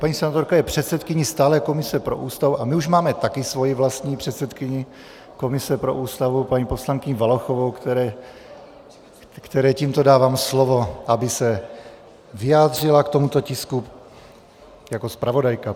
Paní senátorka je předsedkyní stálé komise pro Ústavu a my už máme také svoji vlastní předsedkyni komise pro Ústavu, paní poslankyni Valachovou, které tímto dávám slovo, aby se vyjádřila k tomuto tisku jako zpravodajka.